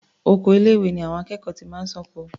Oko ilé-ìwé ni àwọn akẹ́kọ̀ọ́ ti máa ń ṣáko.